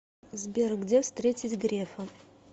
сбер где встретить грефа